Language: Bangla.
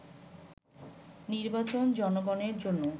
“নির্বাচন জনগণের জন্য